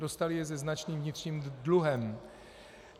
Dostaly je se značným vnitřním dluhem.